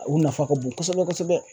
U nafa ka bon kosɛbɛ kosɛbɛ